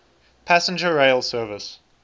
passenger rail service